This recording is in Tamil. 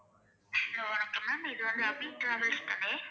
hello வணக்கம் ma'am இது abi travels தான